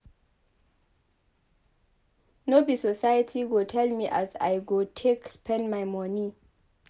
No be society go tell me as I go take spend my moni.